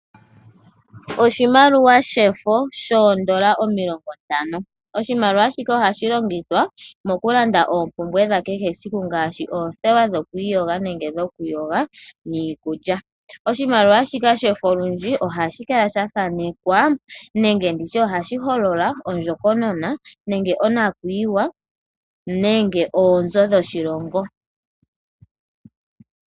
Oshimaliwa shefo shoondola omilongontano. Oshimaliwa shika ohashi longithwa moku landa oompumbwe dha kehe esiku, ngaashi oothewa dhokwiiyoga nenge dhoku yoga, niikulya. Oshimaliwa shika shefo olundji ohashi kala sha thanekwa nenge nditye ohashi holola ondjokonona nenge onakuyiwa nenge onzoo dhoshilongo.